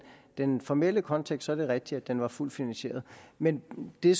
den formelle kontekst er det rigtigt at den er fuldt finansieret men det